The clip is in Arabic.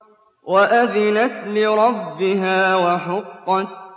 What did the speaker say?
وَأَذِنَتْ لِرَبِّهَا وَحُقَّتْ